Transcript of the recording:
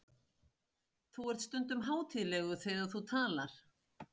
Þú ert stundum hátíðlegur þegar þú talar.